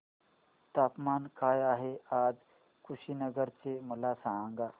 तापमान काय आहे आज कुशीनगर चे मला सांगा